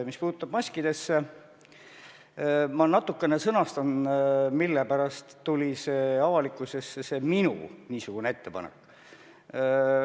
Mis puutub maskidesse, siis ma natukene selgitan, mille pärast tuli avalikkusesse see minu ettepanek.